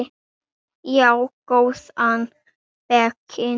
Já, góðan daginn.